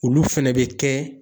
Olu fɛnɛ bɛ kɛ